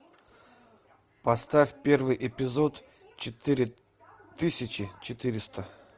поставь первый эпизод четыре тысячи четыреста